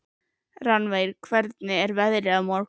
Rannver, hvernig er veðrið á morgun?